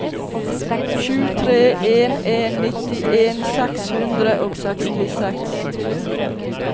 sju tre en en nittien seks hundre og sekstiseks